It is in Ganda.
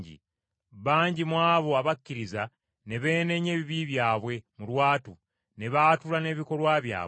Bangi mu abo abakkiriza ne beenenya ebibi byabwe mu lwatu ne baatula n’ebikolwa byabwe.